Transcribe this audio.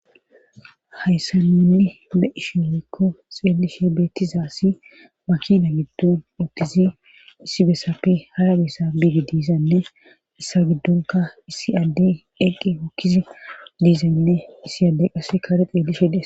hayssa ninni le7ishi leekko xeelishe beettizaassi makina giddun ottizi issi bessapfe hara bessa biige diizanne issa giddunka issi addey eqqi hokkizi diizaynne issi adde qasse kaare xeelishede